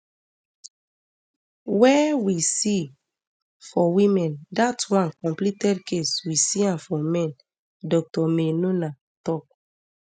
wey we see um for women dat one completed case we see am for men dr maynunah tok